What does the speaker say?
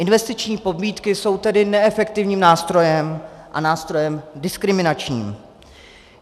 Investiční pobídky jsou tedy neefektivním nástrojem a nástrojem diskriminačním.